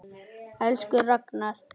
Elsku Ragnar.